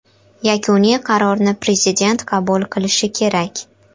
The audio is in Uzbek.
Yakuniy qarorni prezident qabul qilishi kerak.